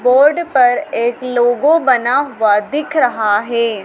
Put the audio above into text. Board पर एक लोगों बना हुआ दिख रहा है।